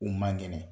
U man ŋɛnɛ